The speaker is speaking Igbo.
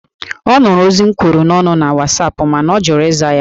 Ọ nụrụ ozi m kwuru n'ọnụ na Wasapụ mana ọ jụrụ ịza ya